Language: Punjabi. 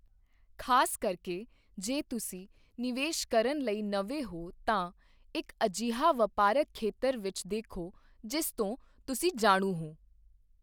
ਖ਼ਾਸ ਕਰਕੇ ਜੇ ਤੁਸੀਂ ਨਿਵੇਸ਼ ਕਰਨ ਲਈ ਨਵੇਂ ਹੋ ਤਾਂ ਇੱਕ ਅਜਿਹਾ ਵਪਾਰਕ ਖੇਤਰ ਵਿੱਚ ਦੇਖੋ ਜਿਸ ਤੋਂ ਤੁਸੀਂ ਜਾਣੂ ਹੋ।